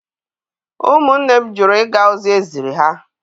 Ụmụnne m jụrụ ịga ozi eziri ha.